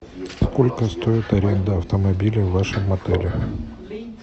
сколько стоит аренда автомобиля в вашем отеле